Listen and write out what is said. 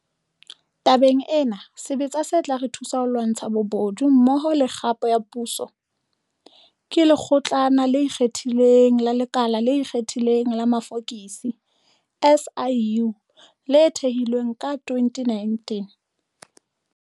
Tabeng ena, sebetsa se tla re thusa ho lwantsha bobodu mmoho le kgapo ya puso, ke Lekgotlana le Ikgethileng la Lekala le Ikgethileng la Mafokisi, SIU, le thehilweng ka 2019.